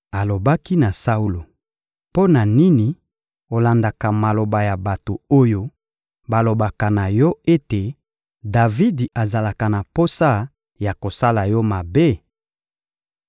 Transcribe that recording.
Alobaki na Saulo: — Mpo na nini olandaka maloba ya bato oyo balobaka na yo ete Davidi azalaka na posa ya kosala yo mabe?